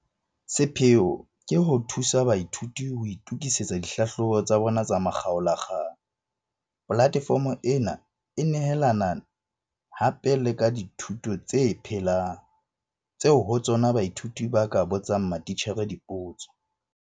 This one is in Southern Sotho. Sepheo ke ho thusa baithuti ho itokisetsa dihlahlobo tsa bona tsa makgaola kgang. Polatefomo ena e nehelana hape le ka dithuto tse phelang, tseo ho tsona baithuti ba ka botsang matitjhere dipotso.